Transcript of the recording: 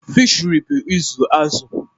Fishiri bụ ịzụ azụ̀.